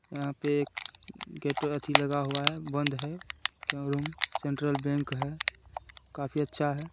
यहाँ पे एक गेट अथी लगा हुआ है बंद है क्यों रूम ? सेंट्रल बैंक है काफ़ी अच्छा है।